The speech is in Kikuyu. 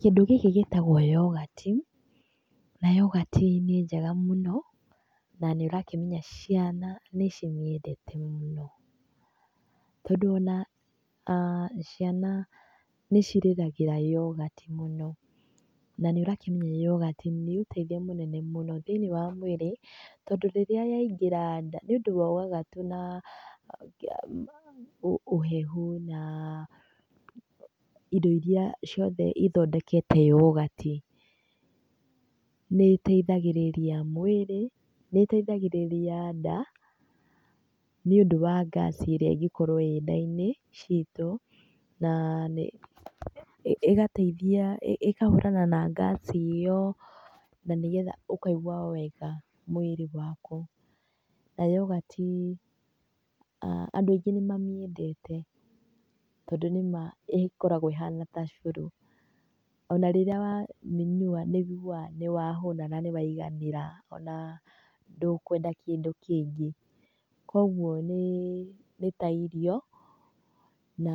Kĩndũ gĩkĩ gĩtagwo yoghurt na yoghurt nĩ njega mũno na nĩũrakimenya ciana nĩ cimĩendete mũno. Tondũ ona ciana nĩ cirĩragĩra yoghurt mũno. Na nĩ ũrakĩmenya yoghurt nĩ ũtethio mũnene mũno thĩiniĩ wa mwĩrĩ, tondũ rĩrĩa yaingĩra nda, nĩ ũndũ wa ũgagatu na ũhehu na indo irĩa ciothe ithondekete yoghurt, nĩ ĩteithagĩrĩria mwĩrĩ, nĩ ĩteithagĩrĩria nda, nĩ ũndũ wa gas ĩrĩa ingĩkorwo ĩ nda-inĩ citũ. Na ĩgateithia, ĩkahũrana na gas ĩyo, na nĩ getha ũkaigua wega mwĩrĩ waku. Na yoghurt andũ aingĩ nĩ mamĩendete, tondũ nĩ ma ĩkoragwo ĩhana ta cũrũ. Ona rĩrĩa wamĩnyua nĩ wĩiguaga nĩ wahũna na nĩ waiganĩra ona ndũkwenda kĩndũ kĩngĩ. Koguo nĩ ta irio na